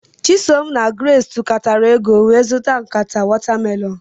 Chisom na Grace tukatara ego wee zụta nkata watamelonụ.